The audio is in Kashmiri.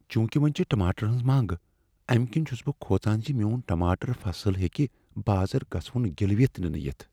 چونكہِ وۄنۍ چھِ ٹماٹرن ہنز منگ ، امہ كِنہِ چھٗس بہٕ كھوژان زِ میون ٹماٹر فصل ہیكہِ بازر گژھوٗن گِلوِتھ نِنہٕ یِتھ ۔